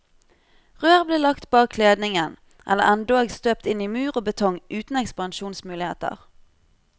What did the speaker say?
Rør ble lagt bak kledningen, eller endog støpt inn i mur og betong uten ekspansjonsmuligheter.